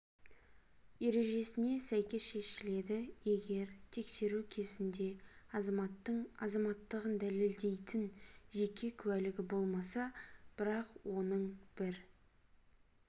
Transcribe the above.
ережесіне сәйкес шешіледі егер тексеру кезінде азаматтың азаматтығын дәлелдейтін жеке куәлігі болмаса бірақ оның бір